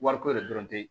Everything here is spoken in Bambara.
Wariko yɛrɛ dɔrɔn te